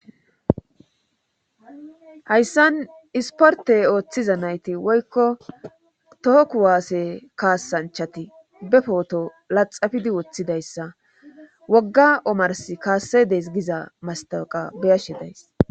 Hayssan isporte ooththiza nayti woykko tohoku waase kaassanchati be pooto laxafidi woththidayssa wogga omars kaasse des giza mastaqa beyashe days.